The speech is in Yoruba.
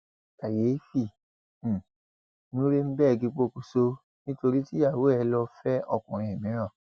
kàyééfì um nuremberg pokùṣọ nítorí tíyàwó ẹ lóò fẹ òkùnkùn mìíràn